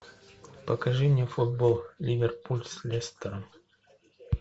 покажи мне футбол ливерпуль с лестером